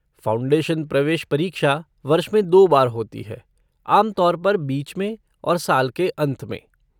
Foundation प्रवेश परीक्षा वर्ष में दो बार होती है, आम तौर पर बीच में और साल के अंत में।